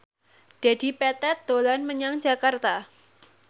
Dedi Petet dolan menyang Jakarta